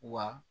Wa